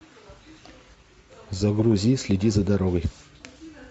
загрузи следи за дорогой